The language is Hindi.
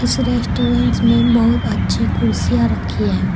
इस रेस्टोरेंट में बहुत अच्छी कुर्सियां रखी है।